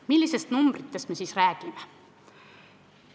Millistest numbritest me räägime?